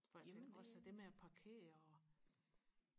for også det med og parkere og